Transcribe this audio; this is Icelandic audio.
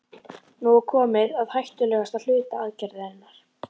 Nú var komið að hættulegasta hluta aðgerðarinnar.